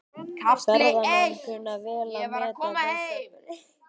Ferðamenn kunna vel að meta þessa breyttu hegðun.